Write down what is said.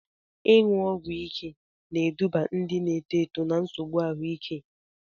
Ịṅụ ọgwụ ike na-eduba ndị na-eto eto na nsogbu ahụike.